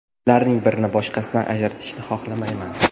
Ularning birini boshqasidan ajratishni xohlamayman.